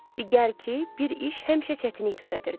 Di gəl ki, bir iş həmişə çətinlik törədirdi.